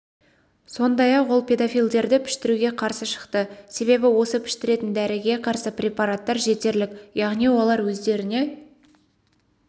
сондай-ақ ол педофилдерді піштіруге қарсы шықты себебі осы піштіретін дәріге қарсы препараттар жетерлік яғни олар өздеріне